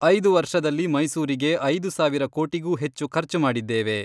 ಐದು ವರ್ಷದಲ್ಲಿ ಮೈಸೂರಿಗೆ ಐದು ಸಾವಿರ ಕೋಟಿಗೂ ಹೆಚ್ಚು ಖರ್ಚು ಮಾಡಿದ್ದೇವೆ.